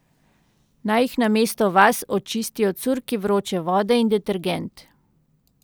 Naj jih namesto vas očistijo curki vroče vode in detergent.